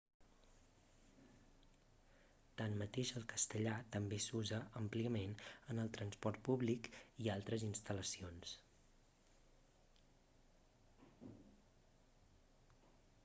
tanmateix el castellà també s'usa àmpliament en el transport públic i altres instal·lacions